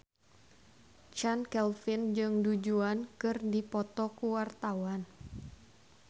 Chand Kelvin jeung Du Juan keur dipoto ku wartawan